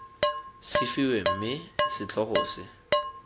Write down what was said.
se fiwe mme setlhogo se